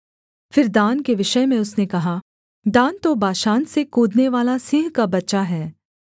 फिर दान के विषय में उसने कहा दान तो बाशान से कूदनेवाला सिंह का बच्चा है